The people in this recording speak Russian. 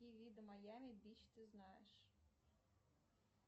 какие виды майами бич ты знаешь